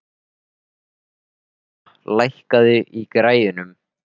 Kristíana, lækkaðu í græjunum.